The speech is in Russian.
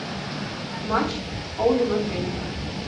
матч олдем атлетик